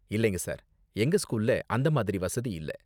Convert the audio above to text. இல்லைங்க சார், எங்க ஸ்கூல்ல அந்த மாதிரி வசதி இல்ல.